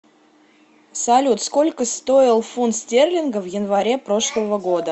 салют сколько стоил фунт стерлинга в январе прошлого года